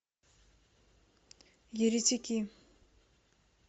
еретики